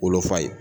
Wolofa ye